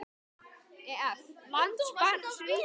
Ef. lands barns ríkis